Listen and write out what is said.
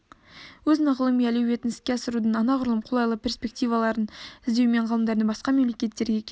өзінің ғылыми әлеуетін іске асырудың анағұрлым қолайлы перспективаларын іздеумен ғалымдардың басқа мемлекеттерге кетуі